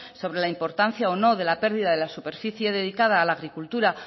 sobre la importancia o no de la pérdida de la superficie dedicada a la agricultura